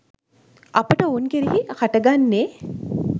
අපට ඔවුන් කෙරෙහි හට ගන්නේ